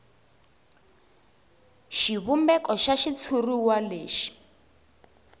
xivumbeko xa xitshuriwa lexi